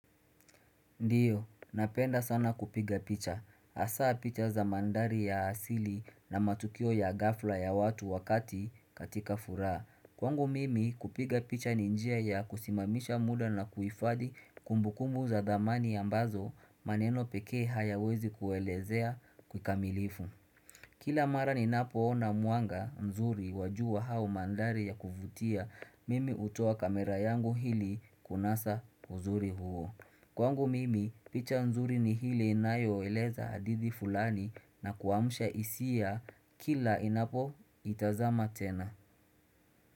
Ndiyo, napenda sana kupiga picha. Hasa picha za mandhari ya asili na matukio ya ghafla ya watu wakati katika furaa. Kwangu mimi kupiga picha ni njia ya kusimamisha muda na kuhifadi kumbukumu za thamani ambazo maneno peke hayawezi kuelezea kikamilifu. Kila mara ninapoona mwanga mzuri wa jua au mandhari ya kuvutia mimi hutoa kamera yangu ili kunasa uzuri huo. Kwangu mimi picha nzuri ni ile inayoeleza hadithi fulani na kuamsha hisia kila inapo itazama tena.